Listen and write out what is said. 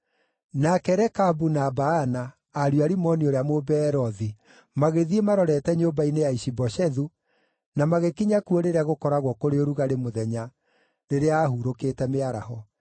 Nake Rekabu na Baana, ariũ a Rimoni ũrĩa Mũbeerothi, magĩthiĩ marorete nyũmba-inĩ ya Ishi-Boshethu, na magĩkinya kuo rĩrĩa gũkoragwo kũrĩ ũrugarĩ mũthenya, rĩrĩa aahurũkĩte mĩaraho.